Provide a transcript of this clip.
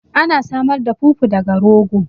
Ana samar da fufu daga rogo